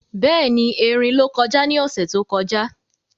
Béèni, erin ló kọjá ní ọ̀sẹ̀ tó kọjá